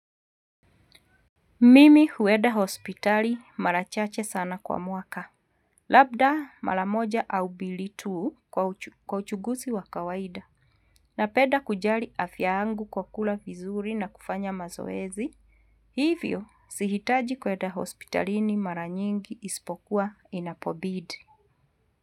Mimi hueda hospitali mara chache sana kwa mwaka, labda mara moja au bili tu kwa uchugusi wa kawaida napeda kujali afya yangu kwa kula vizuri na kufanya mazoezi, hivyo sihitaji kueda hospitalini mara nyingi ispokuwa inapobidi.